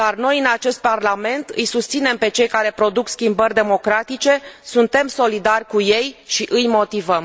Dar noi, în acest Parlament, îi susținem pe cei care produc schimbări democratice, suntem solidari cu ei și îi motivăm.